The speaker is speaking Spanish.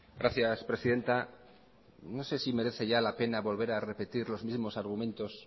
gracias presidenta no sé si merece ya la pena volver a repetir los mismos argumentos